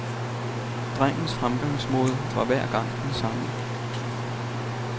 Drengens fremgangsmåde var hver gang den samme.